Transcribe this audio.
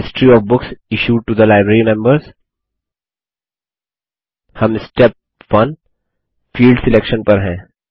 history of books issued to the library members हम step 1 field selection पर हैं